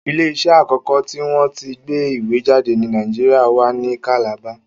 Ilé iṣẹ́ àkọ́kọ́ tí wọ́n tí ń gbé ìwé jáde ni Nàìjíríà wa ní kàlàba